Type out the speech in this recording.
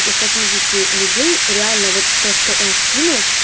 тех восьмидесяти людей реально вот то что он скинул